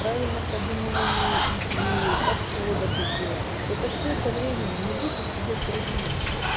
правильно продумывание идеи подхода к еде это все со временем не будьте к себе строги